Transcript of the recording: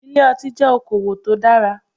Ilé ọtí jẹ́ okowò tó dára.